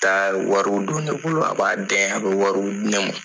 a bɛ wari don ne bolo a b'a dɛn a bɛ wari di ne ma.